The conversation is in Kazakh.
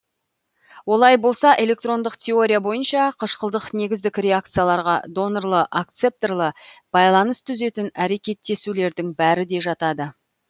олай болса электрондық теория бойынша қышқылдық негіздік реакцияларға донорлы акцепторлы байланыс түзетін әрекеттесулердің бәрі де жатады